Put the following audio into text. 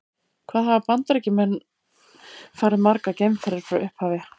Hvað hafa Bandaríkjamenn farið margar geimferðir frá upphafi?